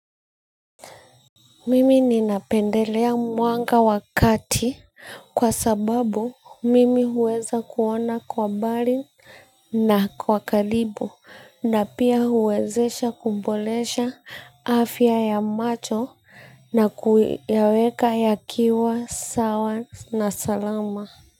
Mimi ninapendelea mwanga wa kati kwa sababu mimi huweza kuona kwa mbali na kwa karibo na pia huwezesha kuboresha afya ya macho na kuyaweka yakiwa sawa na salama.